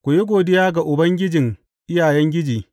Ku yi godiya ga Ubangijin iyayengiji.